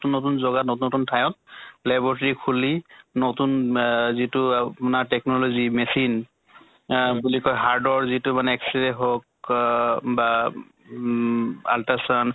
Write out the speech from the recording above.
নতুন জগা নতুন নতুন ঠায়ত laboratory খুলি নতুন এহ যিটো তোমাৰ technology machine বুলি কয় hard ৰ যিটো মানে x-ray হৌক অহ বা উম ultrasound